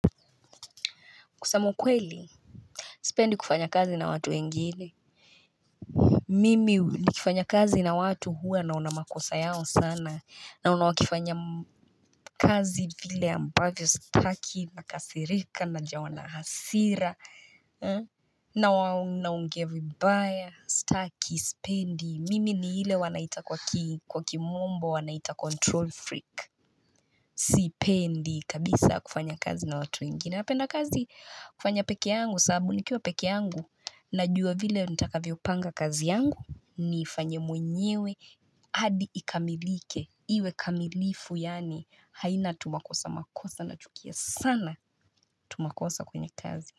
Kusema kweli. Sipendi kufanya kazi na watu wengine Mimi nikifanya kazi na watu hua naonamakosa yao sana. Naona wakifanya kazi vile ambavyo sitaki na kasirika na jawana hasira. Naongea vibaya sitaki sipendi. Mimi ni ile wanaita kwa kimombo wanaita control freak. Sipendi kabisa kufanya kazi na watu wengine. Napenda kazi kufanya pekee yangu sababu nikiwa pekee yangu najua vile nitakavyopanga kazi yangu ni ifanye mwenyewe hadi ikamilike iwe kamilifu yaani haina tumakosa makosa na chukia sana tumakosa kwenye kazi.